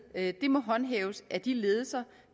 må håndhæves af de ledelser